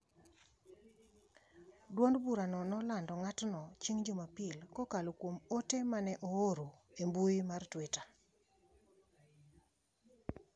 Dwond burano nolando ng’atno chieng’ Jumapil kokalo kuom ote ma ne ooro e mbui mar Twitter.